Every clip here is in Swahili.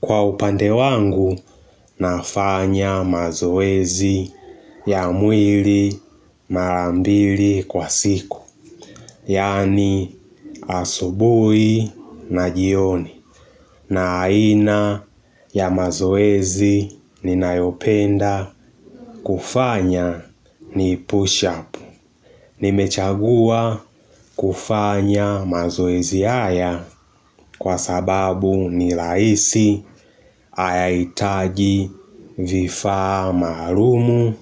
Kwa upande wangu, nafanya mazoezi ya mwili mara mbili kwa siku. Yaani asubuhi na jioni. Na aina ya mazoezi ninayopenda kufanya ni push up. Nimechagua kufanya mazoezi haya kwa sababu ni rahisi hayahitaji vifaa maalumu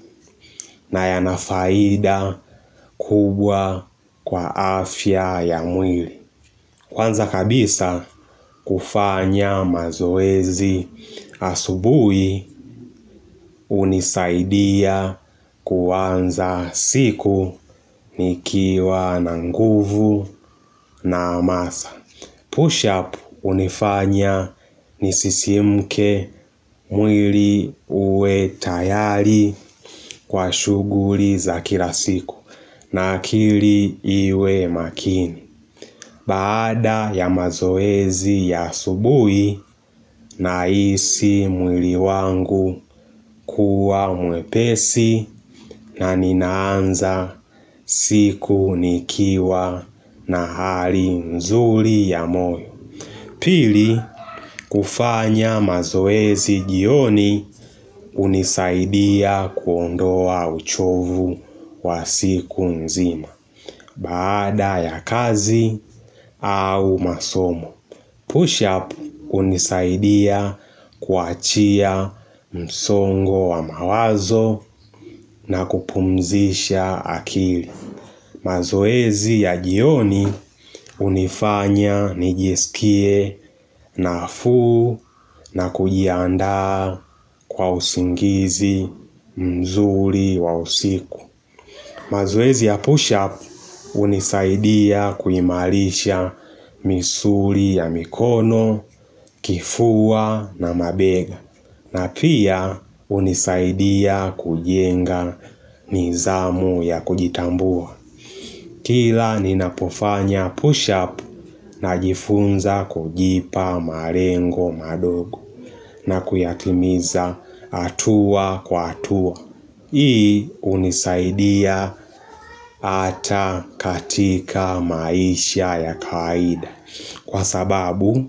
na yanafaida kubwa kwa afya ya mwili. Kwanza kabisa kufanya mazoezi asubuhi hunisaidia kwanza siku nikiwa na nguvu na hamasa. Push up hunifanya nisisimke mwili uwe tayari kwa shughuli za kila siku na akili iwe makini. Baada ya mazoezi ya asubuhi nahisi mwili wangu kuwa mwepesi na ninaanza siku nikiwa na hali mzuri ya moyo. Pili, kufanya mazoezi jioni unisaidia kuondoa uchovu wa siku nzima. Baada ya kazi au masomo. Push-up hunisaidia kuachia msongo wa mawazo na kupumzisha akili. Mazoezi ya jioni hunifanya nijiskie nafuu na kujiaanda kwa usingizi mzuri wa usiku. Mazoezi ya push-up hunisaidia kuimarisha misuli ya mikono, kifua na mabega na pia hunisaidia kujenga mizamu ya kujitambua. Kila ninapofanya push-up najifunza kujipa malengo madogo na kuyatimiza hatua kwa hatua. Hii hunisaidia hata katika maisha ya kawaida Kwa sababu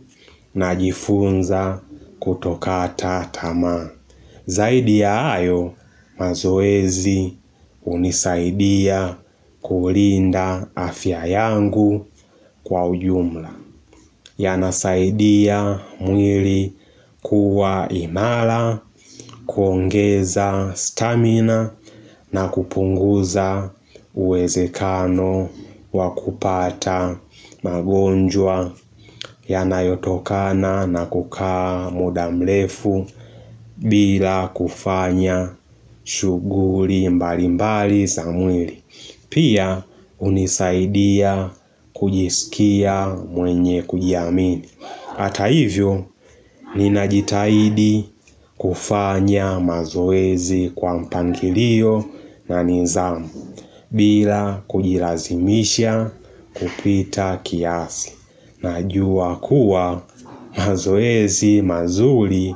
najifunza kutokata tamaa Zaidi ya hayo mazoezi hunisaidia kulinda afya yangu kwa ujumla yanasaidia mwili kuwa imara, kuongeza stamina na kupunguza uwezekano wakupata magonjwa yanayotokana na kukaa muda mrefu bila kufanya shughuli mbali mbali za mwili Pia hunisaidia kujisikia mwenye kujiamini Hata hivyo, ninajitahidi kufanya mazoezi kwa mpangilio na nizamu bila kujilazimisha kupita kiasi Najua kuwa mazoezi mazuri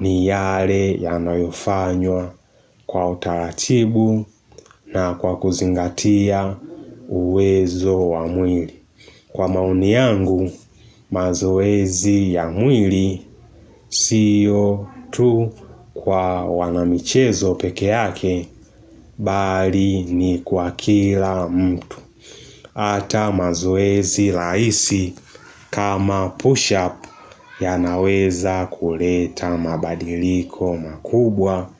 ni yale yanayofanywa kwa utaratibu na kwa kuzingatia uwezo wa mwili Kwa maoni yangu mazoezi ya mwili sio tu kwa wanamichezo pekee yake bali ni kwa kila mtu Hata mazoezi rahisi kama push up yanaweza kuleta mabadiliko makubwa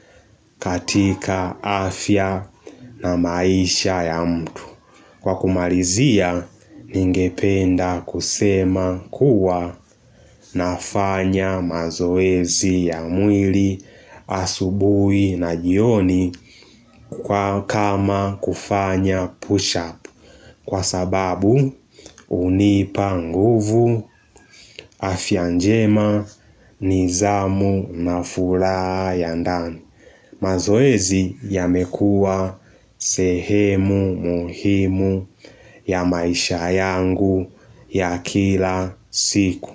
katika afya na maisha ya mtu Kwa kumalizia, ningependa kusema kuwa nafanya mazoezi ya mwili, asubuhi na jioni kwa kama kufanya push-up. Kwa sababu, hunipa nguvu, afya njema, nizamu na furaha ya ndani. Mazoezi yamekua sehemu muhimu ya maisha yangu ya kila siku.